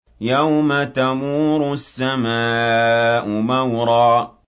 يَوْمَ تَمُورُ السَّمَاءُ مَوْرًا